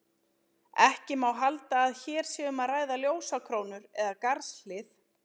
Ekki má halda að hér sé um að ræða ljósakrónur eða garðshlið.